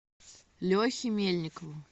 лехе мельникову